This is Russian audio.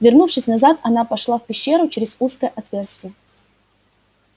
вернувшись назад она пошла в пещеру через узкое отверстие